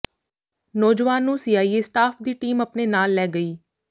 ਨੌਜਵਾਨ ਨੂੰ CIA staff ਦੀ ਟੀਮ ਆਪਣੇ ਨਾਲ ਲੈ ਗਈ